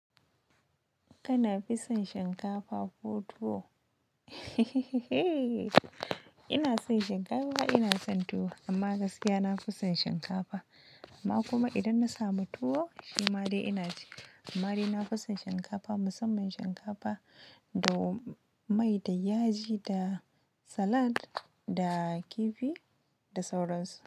Kana fi son shinkafa ko tuwo? Ina son shinkafa, ina son tuwo amma gaskiya na fi son shinkafa. Amma kuma idan na samu tuwo shi ma dai ina ci. Amma dai na fi son shinkafa, musamman shinkafa da mai da yaji da salad da kifi da sauransu.